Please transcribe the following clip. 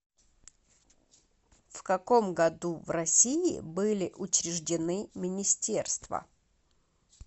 в каком году в россии были учреждены министерства